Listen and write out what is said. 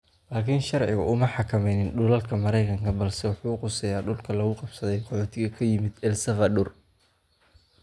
Laakiin sharcigu uma xakameynin dhulalka Maraykanka balse wuxuu khuseeyaa dhulka lagu qabsaday qaxootiga ka yimid El Salvador.